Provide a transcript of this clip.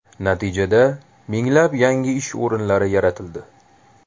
Natijada minglab yangi ish o‘rinlari yaratildi.